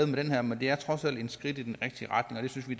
med det her men det er trods alt et skridt i den rigtige retning og det synes vi